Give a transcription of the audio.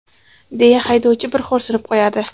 deya haydovchi bir xo‘rsinib qo‘yadi.